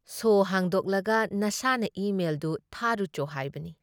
ꯁꯣ ꯍꯥꯡꯗꯣꯛꯂꯒ ꯅꯁꯥꯅ ꯏ ꯃꯦꯜꯗꯨ ꯊꯥꯔꯨꯆꯣ ꯍꯥꯏꯕꯅꯤ ꯫